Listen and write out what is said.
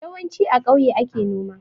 Yawanci a kauye ake noma